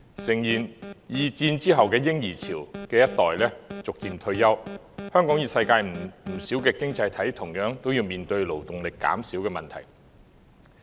誠然，二戰後的嬰兒潮一代逐漸退休，香港與世界不少經濟體同樣面對勞動力減少的問題。